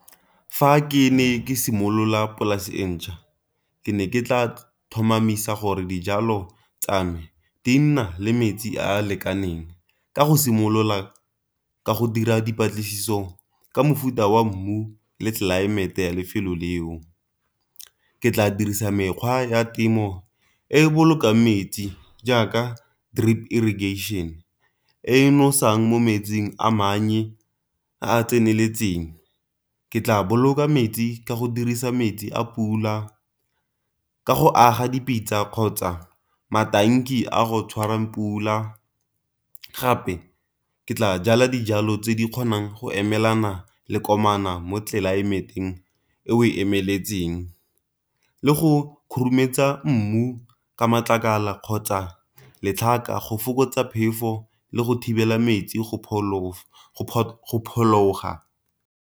Fa ke ne ke simolola polase e ntjha ke ne ke tla tlhomamisa gore dijalo tsa me di na le metsi a lekaneng, ka go simolola ka go dira dipatlisiso ka mofuta wa mmu le tlelaemete ya lefelo leo. Ke tla dirisa mekgwa ya temo e e bolokang metsi jaaka drip irrigation e nosetsang mo metsing a a tseneletseng. Ke tla boloka metsi ka go dirisa metsi a pula ka go aga dipitsa kgotsa a go tshwarang pula. Gape ke tla jala dijalo tse di kgonang go emelana le mo tlelaemeteng e o emetseng, le go khurumetsa mmu ka matlakala kgotsa letlhaka go fokotsa phefo le go thibela metsi go phuthuloga.